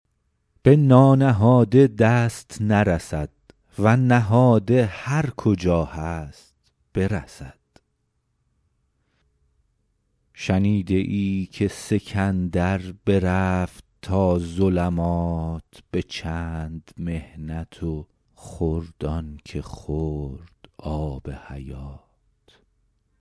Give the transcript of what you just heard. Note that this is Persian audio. به نانهاده دست نرسد و نهاده هر کجا هست برسد شنیده ای که سکندر برفت تا ظلمات به چند محنت و خورد آن که خورد آب حیات